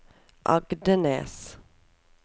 Agdenes